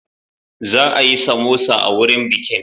Za a yi samosa a wurin bikin.